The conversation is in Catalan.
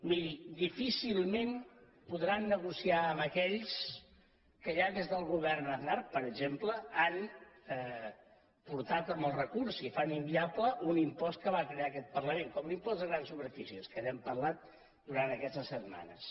miri difícilment podran negociar amb aquells que ja des del govern aznar per exemple han portat amb el recurs i fan inviable un impost que va crear aquest parlament com l’impost de grans superfícies que n’hem parlat durant aquestes setmanes